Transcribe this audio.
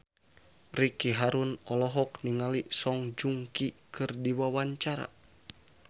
Ricky Harun olohok ningali Song Joong Ki keur diwawancara